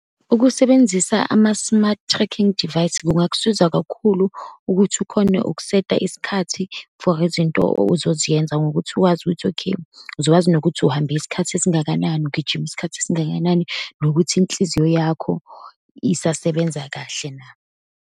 Ukusebenzisa ama-smart tracking device, kungakusiza kakhulu ukuthi ukhone ukusetha isikhathi for izinto ozoziyenza ngokuthi wazi ukuthi okay, uzowazi nokuthi uhambe isikhathi esingakanani, ugijima isikhathi esingakanani, nokuthi inhliziyo yakho isasebenza kahle na.